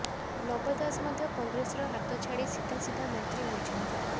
ନବ ଦାସ ମଧ୍ୟ କଂଗ୍ରେସର ହାତ ଛାଡି ସିଧା ସିଧା ମନ୍ତ୍ରୀ ହୋଇଛନ୍ତି